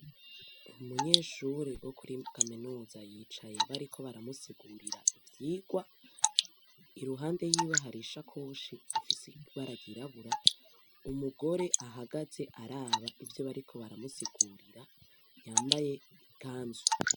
Umunyeshure wo muri Kaminuza yicaye bariko baramusigurira ivyigwa, iruhande yiwe hari isakoshi ifise ibara ryirabura, umugore ahagaze araba ivyo bariko baramusigurira, yambaye ikanzu.